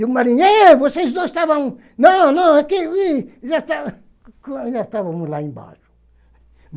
E o marinheiro, ei vocês dois estavam... Não, não, aqui... Já estávamos, já estávamos lá embaixo.